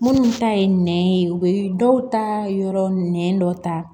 Minnu ta ye nɛn ye u bɛ dɔw ta yɔrɔ nɛn dɔ ta